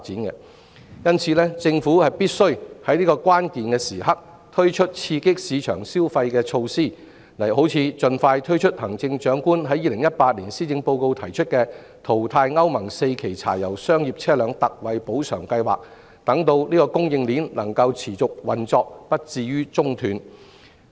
因此，政府必須在這個關鍵時刻推出刺激市場消費的措施，例如盡快推出行政長官在2018年施政報告提出的淘汰歐盟 IV 期以前柴油商業車輛特惠補償計劃，讓供應鏈能夠持續運作，不致中斷。